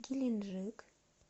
геленджик